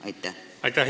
Aitäh!